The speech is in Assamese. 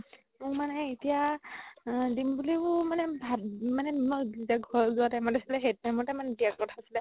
মোৰ মানে এতিয়াও আ দিম বুলিও ভাবি মানে মই যেতিয়া ঘৰ যোৱা time ত আছিলে সেইদিনা দিয়া কথা আছিলে